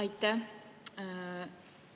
Aitäh!